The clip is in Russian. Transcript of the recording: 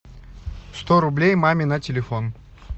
сто рублей маме на телефон